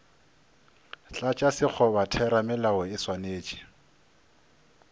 tlatša sekgoba theramelao e swanetše